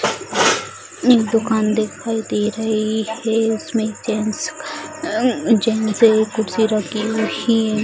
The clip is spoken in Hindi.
एक दूकान दिखाई दे रही है उसमे एक जेंट्स अअ जेंट्स है एक कुर्सी रखी हुई --